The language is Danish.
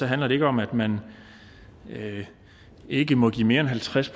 handler det ikke om at man ikke må give mere end halvtreds